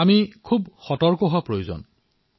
আমি অধিক সতৰ্ক হৈ থাকিব লাগিব